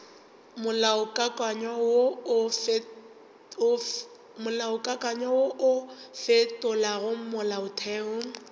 molaokakanywa wo o fetolago molaotheo